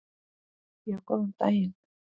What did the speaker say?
Já, góðan daginn.